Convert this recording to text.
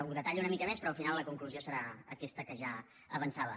ho detallo una mica més però al final la conclusió serà aquesta que ja avançava